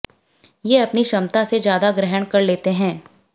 ये अपनी क्षमता से ज्यादा ग्रहण कर लेते हैं